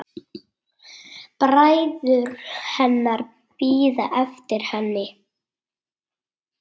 Bræður hennar bíða eftir henni.